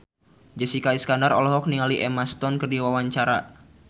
Jessica Iskandar olohok ningali Emma Stone keur diwawancara